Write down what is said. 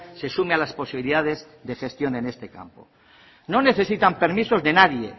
se sume a las posibilidades de gestión en este campo no necesitan permisos de nadie